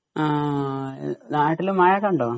നാട്ടില് മഴയൊക്കെ ഉണ്ടോ?